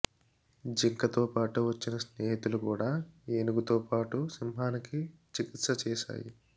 జింకతోపాటు వచ్చిన స్నేహితులు కూడా ఏనుగుతో పాటు సింహానికి చికిత్స చేశాయి